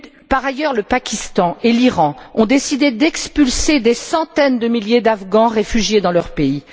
Par ailleurs, le Pakistan et l'Iran ont décidé d'expulser des centaines de milliers d'Afghans réfugiés dans leur pays.